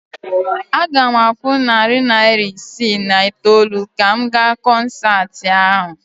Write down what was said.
Aga m akwụ narị naira isii na itoolu ka m gaa kọnsaatị ahụ